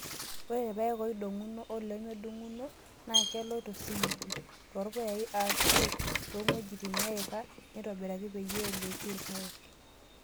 Ore irpaek ooidong'uno oolemeidong'uno naa kelooy tosimiti, toorpuyai ashua toong'wejitin neeika naitobiraki peyie eloyieki irpaek.